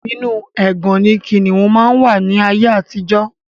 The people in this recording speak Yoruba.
Inu ẹgàn ni kìnnìún máa ń wà ní ayé àtijọ́